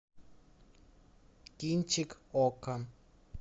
кинчик окко